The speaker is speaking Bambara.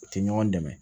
U tɛ ɲɔgɔn dɛmɛ